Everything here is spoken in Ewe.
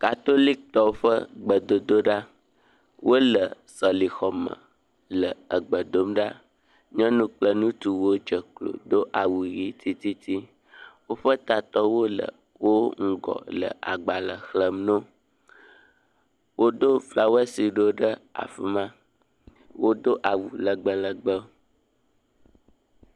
Katolikitɔwo ƒe gbedodoɖa. Wole sɔlixɔme le egbe dom ɖa. Nyɔnu kple ŋutsu wodze klo do awu ʋii tititi. Woƒe tatɔwole wo ŋgɔ le agbalẽ xlẽm noo. Woɖo flawɛsi ɖewo ɖe afi ma. Wodo awu lɛgbɛlɛgbɛ.